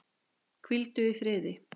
Hvíldu í friði.